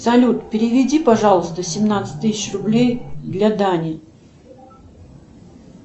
салют переведи пожалуйста семнадцать тысяч рублей для дани